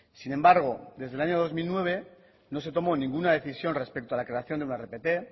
sin embargo desde el año dos mil nueve no se tomó ninguna decisión respecto a la creación de una rpt